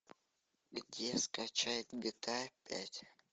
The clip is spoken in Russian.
где скачать гта пять